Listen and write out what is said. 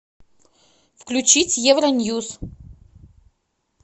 включить евроньюс